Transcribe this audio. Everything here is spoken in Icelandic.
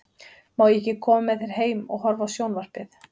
Má ég ekki koma með þér heim og horfa á sjón- varpið?